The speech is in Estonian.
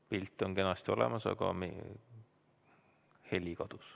Pilt on kenasti olemas, aga heli kadus.